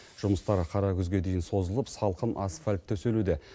жұмыстар қара күзге дейін созылып салқын асфальт төселуде